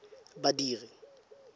badiri